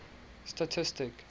statistic